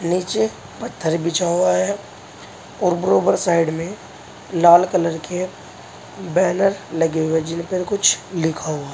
निचे पत्थर बिछा हुआ है और बरोबर साइड में लाल कलर के बैनर लगे हुए जिनपर कुछ लिखा हुआ है।